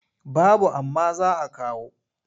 Babu amma za a kawo.